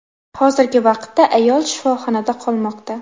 Hozirgi vaqtda ayol shifoxonada qolmoqda.